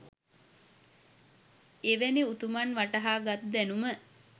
එවැනි උතුමන් වටහා ගත් දැනුම